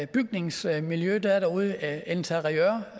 bygningsmiljø der er derude interiør